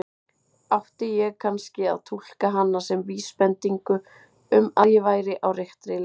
Átti ég kannski að túlka hana sem vísbendingu um að ég væri á réttri leið?